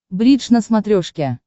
бридж на смотрешке